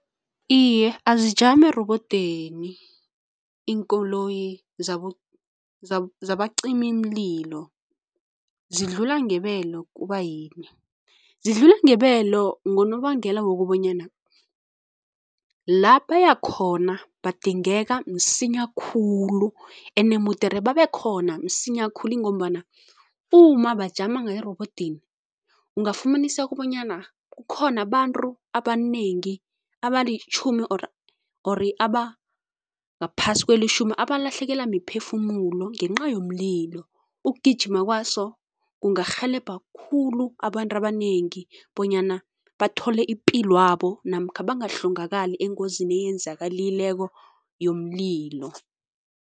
Iye, azijami erobodweni iinkoloyi zabacimimlilo. Zidlula ngebelo kubayini? Zidlula ngebelo ngonobangela wokobanyana la bayakhona badingeka msinya khulu ene mudere babekhona msinya khulu ingombana uma bajama ngereobodini, ungafumanasa kobanyana kukhona abantu abanengi, abalitjhumi or ori abangaphasi kwelitjhumi abalahlekelwa miphefumulo ngenca yomlilo, Ukugijima kwaso kungarhelebha khulu abantu abanengi bonyana bathole ipilwabo namkha bahlongakali engozini eyenzakalileko yomlilo.